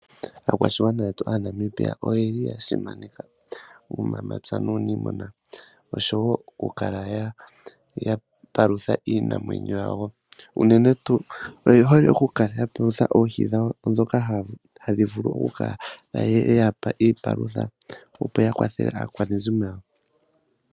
Aakwashigwana yetu Aanamibia oya simaneka uunamapya nuuniimuna oshowo okukala ya palutha iinamwenyo yawo. Unene tuu oye hole okukala ya palutha oohi dhawo ndhoka haya vulu okukala ya pa iipalutha, opo ya kwathele aakwanezimo yawo.